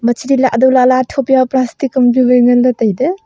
machli lah daw lah ley athop jaw plastic am ju ngan ley tai ley.